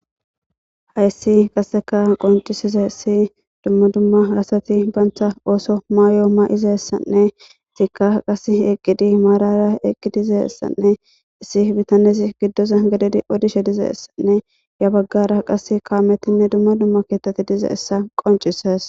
hayssi qasseka qoncisize issi dumma dumma asati baantha ooso maayo ma'ize essanne isikka qas eqqidi maarara eqqi dize essanne issi bitanesi giddo zan gadedi odishe dize essanne ya baggara qas kaametinne dumma dumma keetati diza essa qoncisees.